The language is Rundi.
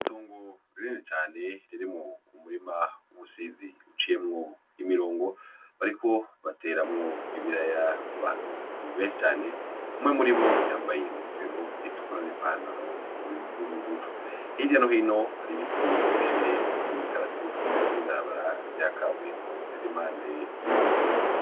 Itongo rinini cane ririmwo umurima w'ubusizi uciyemwo imirongo, bakaba bariko bateramwo ibiraya abantu benshi cane, umwe muribo yambaye inkofero itukura n'ipantaro y'ubururu, hirya no hino hari ibiti birebire vy'imikaratusi n'ibarabara ry'ikaburimbo riri impande y'uwo murima.